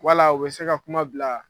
Wala u bɛ se ka kuma bila